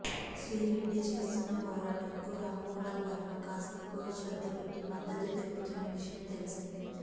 శ్రీరెడ్డి చేస్తున్న పోరాటంకు రామ్ గోపాల్ వర్మ కాస్త ఎక్కువ శ్రద్ద పెట్టి మద్దతు తెలుపుతున్న విషయం తెల్సిందే